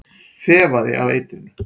Þefaði af eitrinu.